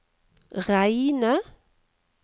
reine